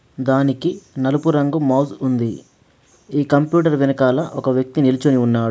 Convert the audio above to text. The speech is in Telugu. దానికి నలుపు రంగు మౌస్ ఉంది. ఈ కంప్యూటర్ వెనకాల ఒక వ్యక్తి నిల్చొని ఉన్నాడు.